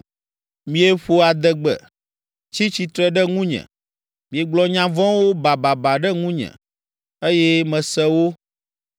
Mieƒo adegbe, tsi tsitre ɖe ŋunye, miegblɔ nya vɔ̃wo bababa ɖe ŋunye, eye mese wo.